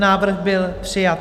Návrh byl přijat.